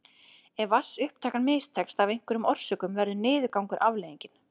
Ef vatnsupptakan mistekst af einhverjum orsökum verður niðurgangur afleiðingin.